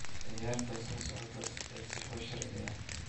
ciyaarta soo socota ee sifo sharci ah